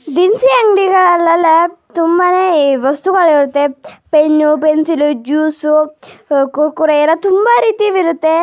ದಿನಸಿ ಅಂಗಡಿಗಳಲ್ಲೆಲ್ಲಾ ತುಂಬಾನೇ ವಸ್ತುಗಳಿರುತ್ತೆ ಪೆನ್ನು ಪೆನ್ಸಿಲು ಜ್ಯುಸು ಅಹ್ ಕುರ್ಕುರೆ ಎಲ್ಲಾ ತುಂಬಾ ರೀತಿಯವು ಇರುತ್ತೆ --